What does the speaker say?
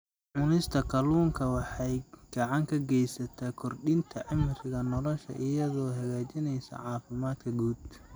Cunista kalluunka waxay gacan ka geysataa kordhinta cimriga nolosha iyadoo hagaajinaysa caafimaadka guud.